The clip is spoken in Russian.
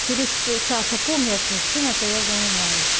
через час опомнилась ой чем это я занимаюсь